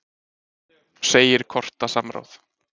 Segir skorta samráð